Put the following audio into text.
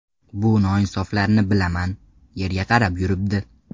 Bu noinsoflarni bilaman, yerga qarab yuribdi.